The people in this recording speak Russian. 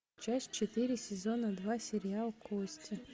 часть четыре сезона два сериал кости